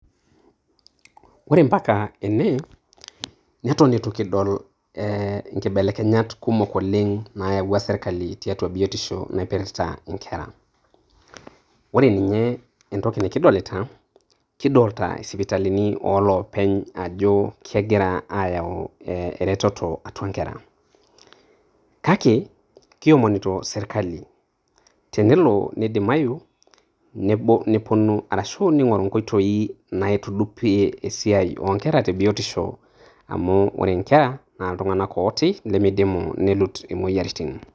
Ore mpaka ene, netu eton eitu kidol eeh kibelekenyat kumok oleng naiyawua serkali tiatua biotisho naipirrta inkera, ore ninye entoki nikidolita naa, kidolita sipitalini ooloopeny ajo kengira aayau eretoto atua nkera, kake kiomonito sirkali tenelo nidimayu nepuonu arashu neing'oru inkoitoii naitudupie esiai oo nkera te biotisho amu kore nkera na iltung'ana ooti lemeidimu neluut imoyiaritin.